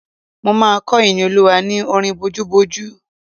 Mo máa kọ́ Ìníolúwa ní orin bojúbojú